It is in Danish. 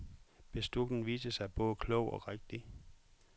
Beslutningen viste sig både klog og rigtig.